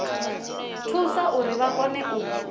thusa uri vha kone u